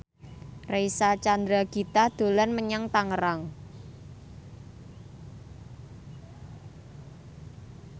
Reysa Chandragitta dolan menyang Tangerang